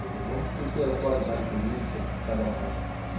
Quer dizer, vamos discutir a atualidade política, o que cada um acha.